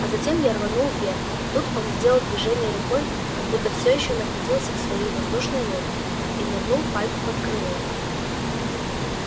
а затем я рванул вверх тут он сделал движение рукой как будто все ещё находился в своей воздушной лодке и нырнул пайку под крыло